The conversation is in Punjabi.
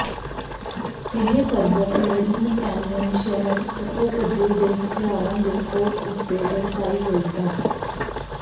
ਇਹ ਪਰਬਤ ਲੜੀ ਮਕੈਨੀਅਨ ਸ਼ਹਿਰ ਸਕੋਪਜੇ ਦੇ ਹਥਿਆਰਾਂ ਦੇ ਕੋਟ ਉੱਤੇ ਦਰਸਾਈ ਗਈ ਹੈ